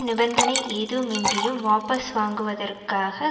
நிபந்தனை எதுவுமின்றியும் வாபஸ் வாங்குவதற்காக